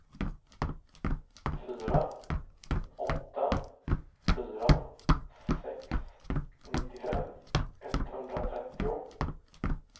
fyra åtta fyra sex nittiofem etthundratrettio